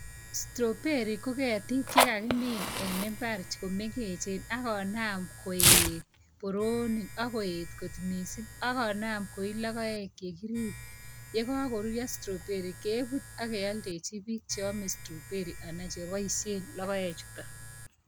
Strawberry ko ketik ko kagemin en imbar chu ko mengechen ako nam koet mising'. Ako nam koit logoek chik. Yo kago rurya strawberry kiput aki aldechi piik che ame strawberry ana che baisyet logoek chu.